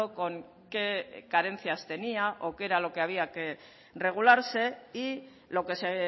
con qué carencias tenía o qué era lo que había que regularse y lo que se